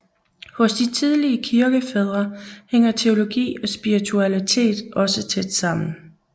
Hos de tidlige kirkefædre hænger teologi og spiritualitet også tæt sammen